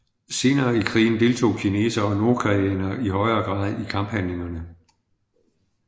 Senere i krigen deltog kinesere og nordkoreanere i højere grad i kamphandlingerne